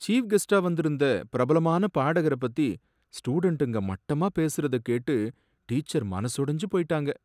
Chief கெஸ்ட்டா வந்திருந்த பிரபலமான பாடகர பத்தி ஸ்டுடென்டுங்க மட்டமா பேசுறத கேட்டு, டீச்சர் மனசொடைஞ்சு போயிட்டாங்க.